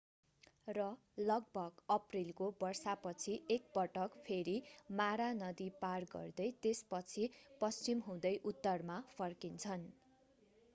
र लगभग अप्रिलको वर्षा पछि एकपटक फेरि मारा नदी पार गर्दै त्यसपछि पश्चिम हुँदै उत्तरमा फर्किन्छन्